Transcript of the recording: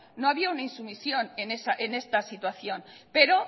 no había un insumisión en esta situación pero